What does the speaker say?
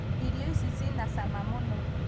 irio ici ciĩna cama mũno